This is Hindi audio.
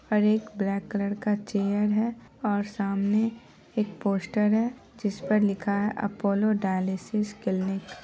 और एक ब्लैक कलर का चेयर है और सामने एक पोस्टर है जिस पर लिखा है अपोलो डायलिसिस क्लिनिक ।